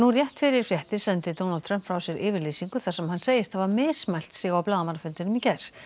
rétt fyrir fréttir sendi Donald Trump frá sér yfirlýsingu þar sem hann segist hafa mismælt sig á blaðamannafundinum í gær